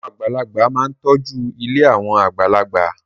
Àwọn àgbàlagbà máa ń tọ́jú ilé àwọn àgbàlagbà.